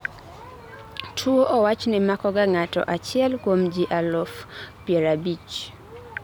tuwo owachni makoga ng'ato achiel kuom ji aluf pier abich